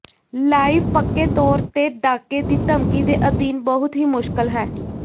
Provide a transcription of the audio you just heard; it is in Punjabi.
ਲਾਈਵ ਪੱਕੇ ਤੌਰ ਤੇ ਡਾਕੇ ਦੀ ਧਮਕੀ ਦੇ ਅਧੀਨ ਬਹੁਤ ਹੀ ਮੁਸ਼ਕਲ ਹੈ